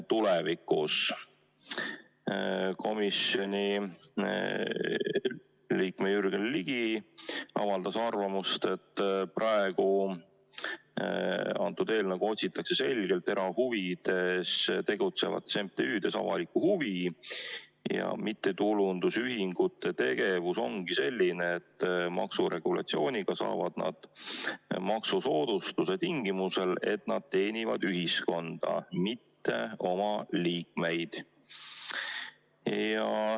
Komisjoni liige Jürgen Ligi avaldas arvamust, et praegu otsitakse selgelt erahuvides tegutsevates MTÜ-des avalikku huvi ja mittetulundusühingute tegevus ongi selline, et maksuregulatsiooniga saavad nad maksusoodustuse tingimusel, et nad teenivad ühiskonda, mitte oma liikmeid.